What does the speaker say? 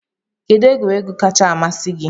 Kedụ egwuregwu kacha amasị gị?